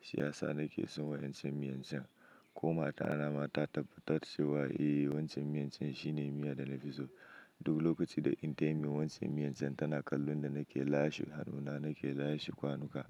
Shi ya sa na ke son wancan miyan can. Ko mata na ma ta tabbatarce wa, eh wancan miyan can shi ne miya da na fi so. Duk lokacin da inta yin min wancan miyan can tana kallon da na ke lashe hannuna, na ke lashe kwanuka.